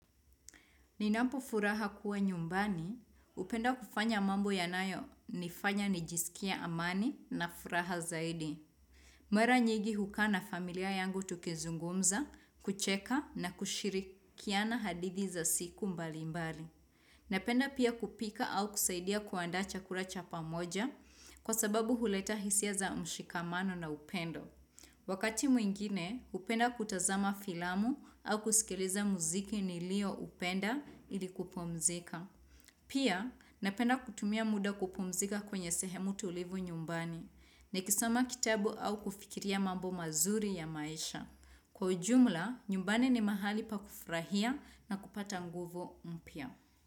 Ninapofuraha kuwa nyumbani, hupenda kufanya mambo yanayo nifanya nijisikie amani na furaha zaidi. Mara nyingi hukaa na familia yangu tukizungumza, kucheka na kushirikiana hadithi za siku mbali mbali. Napenda pia kupika au kusaidia kuandaa chakula cha pamoja kwa sababu huleta hisia za mshikamano na upendo. Wakati mwingine, hupenda kutazama filamu au kusikiliza muziki nilioupenda ili kupumzika. Pia, napenda kutumia muda kupumzika kwenye sehemu tulivu nyumbani, nikisoma kitabu au kufikiria mambo mazuri ya maisha. Kwa ujumla, nyumbani ni mahali pa kufurahia na kupata nguvu mpya.